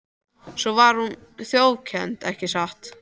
Svo var hún þjófkennd, ekki satt?